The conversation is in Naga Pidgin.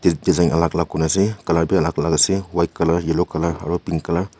alag alag kun ase colour bhi alag alag ase white colour yellow colour aru pink colour .